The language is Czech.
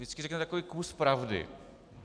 Vždycky řeknete takový kus pravdy.